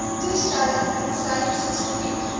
toestelle tensy spesifiek